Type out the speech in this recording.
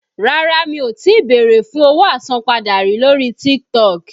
Rárá mi ò tí bèrè fún owó àsanpadà rí lórí TikTok.